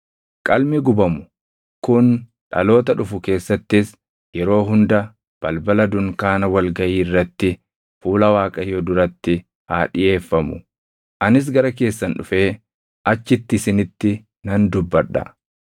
“Qalmi gubamu kun dhaloota dhufu keessattis yeroo hunda balbala dunkaana wal gaʼii irratti fuula Waaqayyoo duratti haa dhiʼeeffamu. Anis gara keessan dhufee achitti isinitti nan dubbadha;